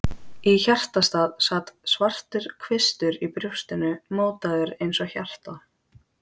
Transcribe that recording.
Í hjartastað sat svartur kvistur í brjóstinu, mótaður eins og hjarta.